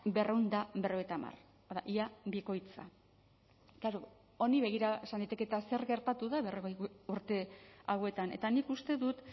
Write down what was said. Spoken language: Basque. berrehun eta berrogeita hamar ia bikoitza klaro honi begira esan daiteke eta zer gertatu da berrogei urte hauetan eta nik uste dut